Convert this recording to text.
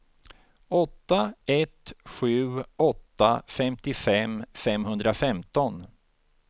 åtta ett sju åtta femtiofem femhundrafemton